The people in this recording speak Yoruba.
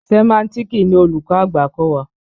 Sẹ̀máńtíìkì ni olùkọ́ àgbà kọ́ wa.